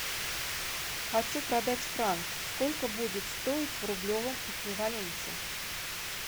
хочу продать франк сколько будет стоить в рублевом эквиваленте